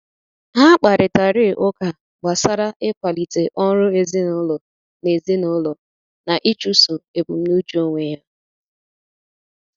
Ha kparịtari ụka gbasara ịkwalite ọrụ ezinụlọ na ezinụlọ na ịchụso ebumnuche onwe ya.